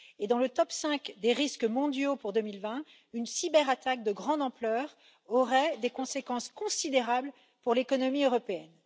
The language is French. Dans le top 5 des risques mondiaux pour 2020, une cyberattaque de grande ampleur aurait des conséquences considérables pour l'économie européenne.